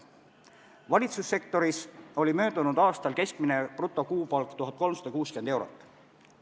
Valitsussektoris oli möödunud aastal keskmine brutokuupalk 1360 eurot.